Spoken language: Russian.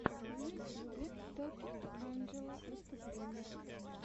в ютьюбе токинг анджела выступление